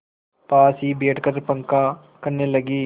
पास ही बैठकर पंखा करने लगी